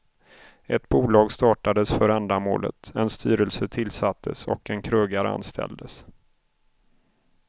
Ett bolag startades för ändamålet, en styrelse tillsattes och en krögare anställdes.